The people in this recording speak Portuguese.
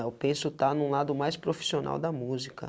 Eu penso estar em um lado mais profissional da música.